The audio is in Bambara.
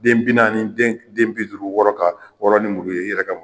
Den bi naani den bi duuru wɔrɔ ka wɔrɔ ni muru ye i yɛrɛ ka